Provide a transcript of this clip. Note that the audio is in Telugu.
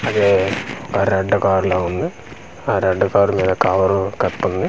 అది ఆ రెడ్ కార్ లాగ ఉంది ఆ రెడ్ కార్ మీద కవర్ కప్పుంది .